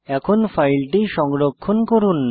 এখন ফাইলটি সংরক্ষণ করুন